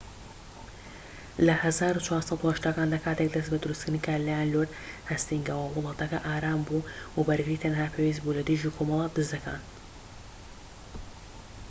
لە ١٤٨٠کاندا، کاتێك دەست بە دروستکردنی کرا لەلایەن لۆرد هەستینگەوە، وڵاتەکە ئارام بوو وە بەرگری تەنها پێویست بوو لەدژی کۆمەڵە دزەکان